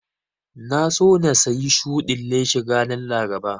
Na so na sayi shudin leshin ranar Laraba